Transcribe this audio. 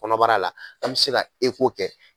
Kɔnɔbara la an bɛ se ka kɛ.